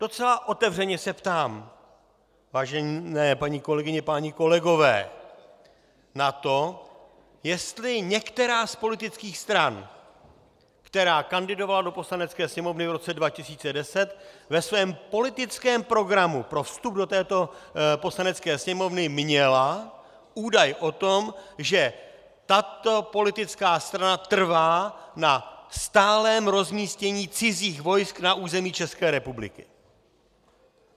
Docela otevřeně se ptám, vážené paní kolegyně, páni kolegové, na to, jestli některá z politických stran, která kandidovala do Poslanecké sněmovny v roce 2010, ve svém politickém programu pro vstup do této Poslanecké sněmovny měla údaj o tom, že tato politická strana trvá na stálém rozmístění cizích vojsk na území České republiky.